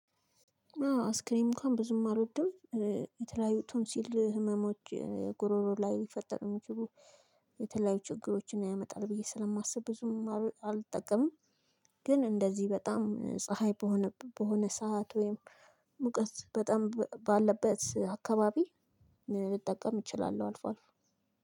አይስክሬም እንኳን ብዙም አልወደውም፣ የተለያዩ ቶሲል ህመሞች ጉሮሮ ላይ ልፈጠሩ የሚችሉ የተለያዩ ችግሮችን ያመጣል ብዬ ስለማስብ ብዙም አልጠቀምም፤ ግን እንደዚህ በጣም ፀሀይ በሆነ በሆነ ሰዓት ወይም ሙቀት በጣም ባለበት አካባቢ ልጠቀም እችላለሁ አልፎ አልፎ።